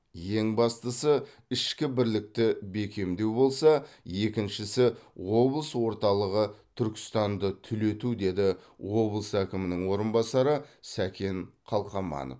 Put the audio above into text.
ең бастысы ішкі бірлікті бекемдеу болса екіншісі облыс орталығы түркістанды түлету деді облыс әкімінің орынбасары сәкен қалқаманов